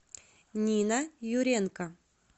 нина юренко